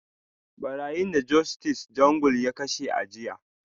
Barayin da Justice Jungle ya kashe a jiya